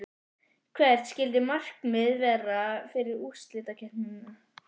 Hvert skyldi markmiðið vera fyrir úrslitakeppnina?